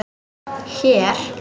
Hér?